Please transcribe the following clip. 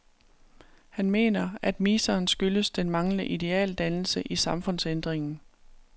Han mener, at miseren skyldes den manglende idealdannelse i samfundsændringen.